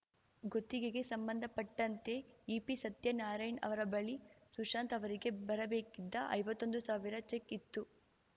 ಗುತ್ತಿಗೆಗೆ ಸಂಬಂಧಪಟ್ಟಂತೆ ಇಪಿ ಸತ್ಯನಾರಾಯಣ್‌ ಅವರ ಬಳಿ ಸುಶಾಂತ್‌ ಅವರಿಗೆ ಬರಬೇಗಿದ್ದ ಐವತ್ತೊಂದು ಸಾವಿರ ಚೆಕ್‌ ಇತ್ತು